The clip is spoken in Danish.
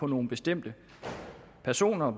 nogle bestemte personer og